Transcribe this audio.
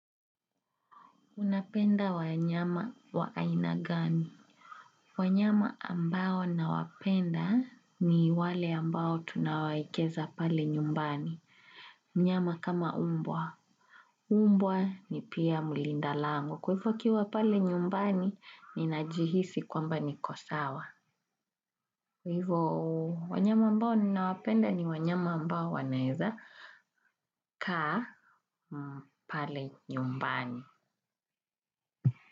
Unapenda wanyama wa aina gani. Wanyama ambao nawapenda ni wale ambao tunawaekeza pale nyumbani. Mnyama kama umbwa. Umbwa ni pia mlinda lango. Kwa hivyo akiwa pale nyumbani nina jihisi kwamba niko sawa. Kwa hivyo wanyama ambao nina wapenda ni wanyama ambao wanaweza kaa pale nyumbani.